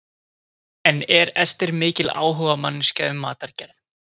En er Ester mikil áhugamanneskja um matargerð?